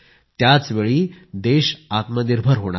त्याचवेळी देश आत्मनिर्भर होणार आहे